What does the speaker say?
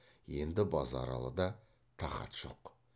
енді базаралыда тақат жоқ